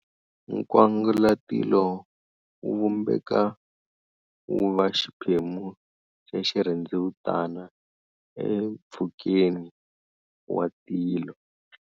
Nkwangalatilo wu vumbeka wu va xiphemu xa xirhendzevutana empfhukeni was tilo.